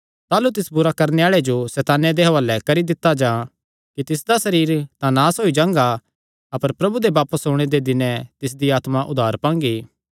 ताह़लू तिस बुरा करणे आल़े जो सैताने दे हुआलैं करी दित्ता जां कि तिसदा सरीर तां नास होई जांगा अपर प्रभु दे बापस ओणे दे दिने तिसदी आत्मा उद्धार पांगी